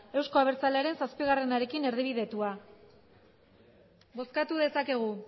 euzko abertzalearen zazpiarekin erdibidetua bozkatu dezakegu